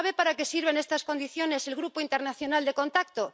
¿Sabe para qué sirve en estas condiciones el Grupo Internacional de Contacto?